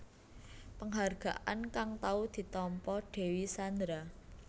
Penghargaan kang tau ditampa Dewi Sandra